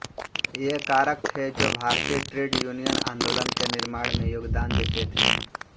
ये कारक थे जो भारतीय ट्रेड यूनियन आंदोलन के निर्माण में योगदान देते थे